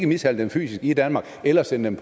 mishandle dem fysisk i danmark eller sende